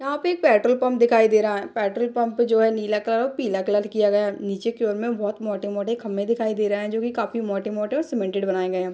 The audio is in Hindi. यहाँ पे एक पेट्रोल पंप दिखाई दे रहा है पेट्रोल पंप जो है नीला कलर और पीला कलर किया गया है नीचे की ओर में बहुत मोटे-मोटे खम्भे दिखाई दे रहे है जो कि काफी मोटे-मोटे और सिमेंटेड बनाए गए है।